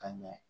Ka ɲɛ